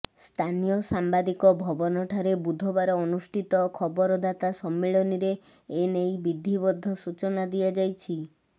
ସ୍ଥାନୀୟ ସାମ୍ବାଦିକ ଭବନଠାରେ ବୁଧବାର ଅନୁଷ୍ଠିତ ଖବରଦାତା ସମ୍ମିଳନୀରେ ଏ ନେଇ ବିଧିବଦ୍ଧ ସୂଚନା ଦିଆଯାଇଛି